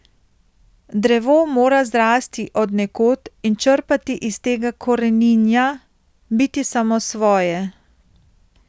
Drevo mora zrasti od nekod in črpati iz tega koreninja, biti samosvoje.